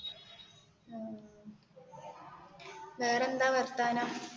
വേറേ എന്താ വർത്താനം